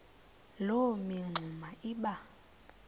loo mingxuma iba